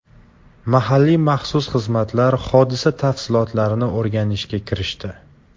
Mahalliy maxsus xizmatlar hodisa tafsilotlarini o‘rganishga kirishdi.